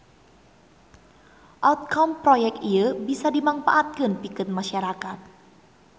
Outcome proyek ieu bisa dimangpaatkeun pikeun masyarakat